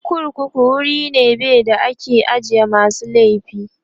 korkuku wuri be da ake ajiye masu laifi